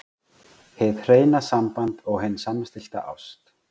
HIÐ HREINA SAMBAND OG HIN SAMSTILLTA ÁST